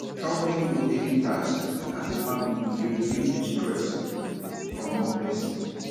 helping with daily taks as a family dey reduce di stress from one person